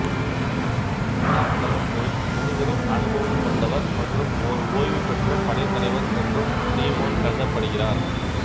இரண்டாம் உலகப்போரில் முதுபெரும் அனுபவம் கொண்டவர் மற்றும் ஓர் ஓய்வு பெற்ற படைத்தலைவர் என்றும் சிமோன் கருதப்படுகிறார்